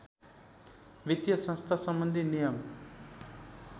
वित्तीय संस्थासम्बन्धी नियम